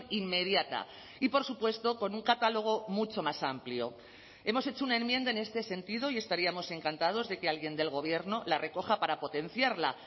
inmediata y por supuesto con un catálogo mucho más amplio hemos hecho una enmienda en este sentido y estaríamos encantados de que alguien del gobierno la recoja para potenciarla